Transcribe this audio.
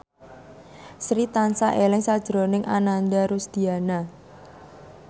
Sri tansah eling sakjroning Ananda Rusdiana